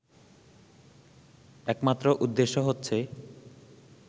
একমাত্র উদ্দেশ্য হচ্ছে